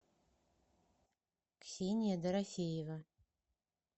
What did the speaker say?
ксения дорофеева